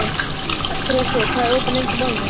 Grethe, hvað er opið lengi í Málinu?